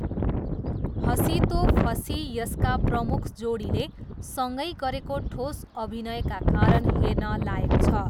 हसीं तो फसीं यसका प्रमुख जोडीले सँगै गरेको ठोस अभिनयका कारण हेर्न लायक छ।